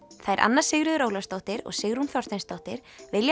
þær Anna Sigríður Ólafsdóttir og Sigrún Þorsteinsdóttir vilja